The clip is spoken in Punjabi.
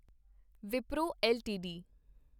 ਵਿਪਰੋ ਐੱਲਟੀਡੀ